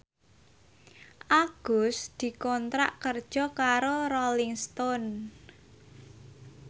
Agus dikontrak kerja karo Rolling Stone